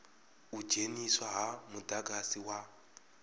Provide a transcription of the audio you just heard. u dzheniswa ha mudagasi wa